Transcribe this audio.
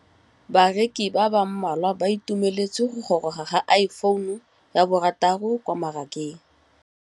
Bareki ba ba malwa ba ituemeletse go gôrôga ga Iphone6 kwa mmarakeng.